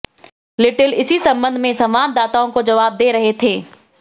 little इसी संबंध में संवाददाताओं को जवाब दे रहे थे